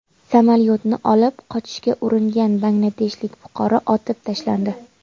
Samolyotni olib qochishga uringan bangladeshlik fuqaro otib tashlandi.